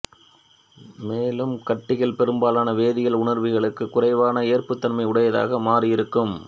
மேலும் கட்டிகள் பெரும்பாலான வேதியியல் உணர்விகளுக்குக் குறைவான ஏற்புத்தன்மை உடையதாக மாறியிருக்கும்